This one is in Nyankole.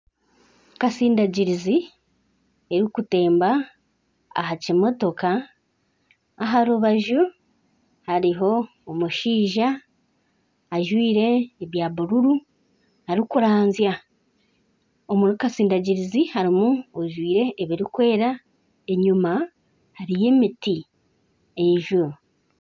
Kasindagirizi erikutemba aha kimotoka aha rubaju hariho omushaija ajwaire ebya bururu arikurazya, omuri kasindagirizi harimu ojwire ebirikwera enyuma hariyo emiti n'enjura.